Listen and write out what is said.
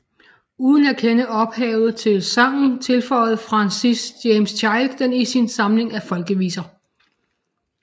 Uden at kende ophavet til sangen tilføjede Francis James Child den i sin samling af folkeviser